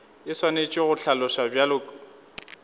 e swanetše go hlaloswa bjalo